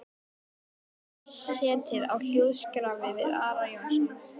Ormur hafði lengi setið á hljóðskrafi við Ara Jónsson.